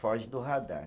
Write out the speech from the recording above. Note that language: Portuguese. Foge do radar.